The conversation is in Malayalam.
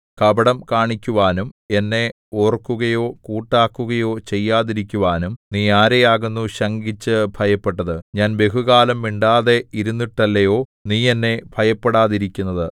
കപടം കാണിക്കുവാനും എന്നെ ഓർക്കുകയോ കൂട്ടാക്കുകയോ ചെയ്യാതിരിക്കുവാനും നീ ആരെയാകുന്നു ശങ്കിച്ചു ഭയപ്പെട്ടത് ഞാൻ ബഹുകാലം മിണ്ടാതെ ഇരുന്നിട്ടല്ലയോ നീ എന്നെ ഭയപ്പെടാതിരിക്കുന്നത്